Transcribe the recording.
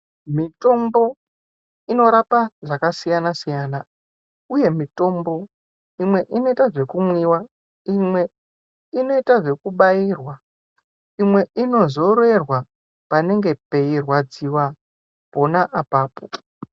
Mitombo inorapa zvakasiyana siyana, uye mitombo imwe inote zvekumwiwa, imwe inoyita zvekubayirwa, imwe inozorerwa panenge peyirwadziwa khona apapo.